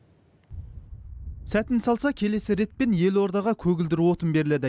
сәтін салса келесі ретпен елордаға көгілдір отын беріледі